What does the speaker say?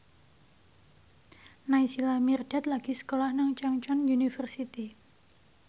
Naysila Mirdad lagi sekolah nang Chungceong University